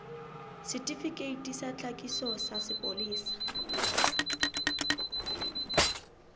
setifikeiti sa tlhakiso sa sepolesa